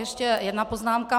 Ještě jedna poznámka.